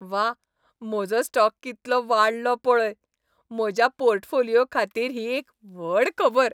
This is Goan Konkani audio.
वा, म्हजो स्टॉक कितलो वाडलो पळय! म्हज्या पोर्टफोलिओ खातीर ही एक व्हड खबर.